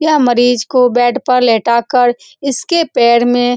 यहाँ पर मरीज को बेड पर लेटाकर इसके पैर में --